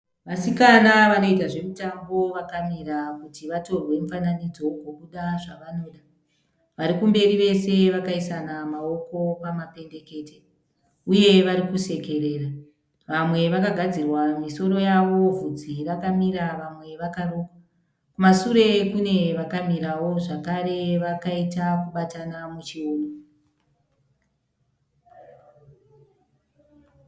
Vasikana vanoita zvemitambo vakamira kuti vatorwe mifananidzo ugobuda zvavanoda. Vari kumberi vese vakaisana maoko pamapendekete uye vari kusekerera. Vamwe vakagadzirwa misoro yavo bvudzi rakamira vamwe vakarukwa. Kumashure kune vakamirawo zvakare vakaita kubatana muchiuno.